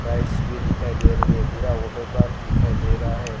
Lights भी दिखाई दे रही है पूरा वाटर पार्क दिखाई दे रहा है।